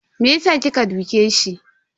Me yasa kika duke shi?